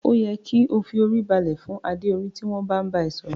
O yẹ ki o fi orí balẹ̀ fún adé orí tí wọn bá n bá ẹ sọ̀rọ̀.